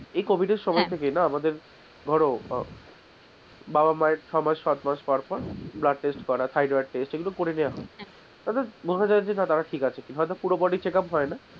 এই covid এর সময় থেকেই না আমাদের ধরো , বাবা-মায়ের ছয় মাস সাত মাস পর পর blood test করা thyroid test এইগুলো করে নেওয়া হয়, তাতে বোঝা যাই যে তারা ঠিক আছে হয়তো পুরো bodycheckup হয় না